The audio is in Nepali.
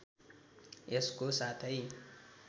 यसको साथै